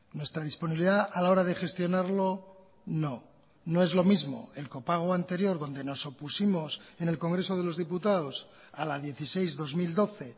nuestra disponibilidad a la hora de gestionarlo no no es lo mismo el copago anterior donde nos opusimos en el congreso de los diputados a la dieciséis barra dos mil doce